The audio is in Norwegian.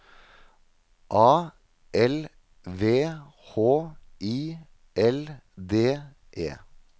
A L V H I L D E